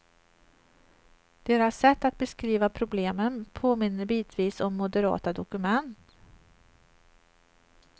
Deras sätt att beskriva problemen påminner bitvis om moderata dokument.